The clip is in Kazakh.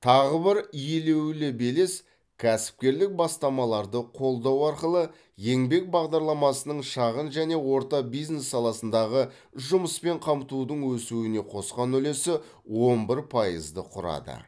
тағы бір елеулі белес кәсіпкерлік бастамаларды қолдау арқылы еңбек бағдарламасының шағын және орта бизнес саласындағы жұмыспен қамтудың өсуіне қосқан үлесі он бір пайызды құрады